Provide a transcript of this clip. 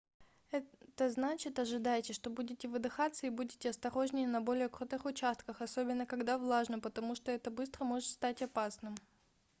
это значит ожидайте что будете выдыхаться и будьте осторожнее на более крутых участках особенно когда влажно потому что это быстро может стать опасным